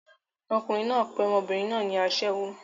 Ọkùnrin náà pe ọmọbìnrin náà ní aṣẹ́wó.